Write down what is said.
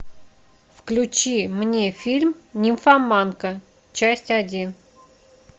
включи мне фильм нимфоманка часть один